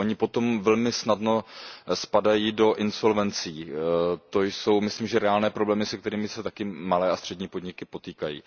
Podniky potom velmi snadno spadají do insolvencí, to jsou myslím reálné problémy, se kterými se malé a střední podniky potýkají.